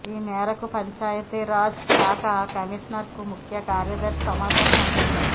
ఈ మేరకు పంచాయతీరాజ్ శాఖ కమిషనర్కు ముఖ్యకార్యదర్శి సమాచారం పంపించారు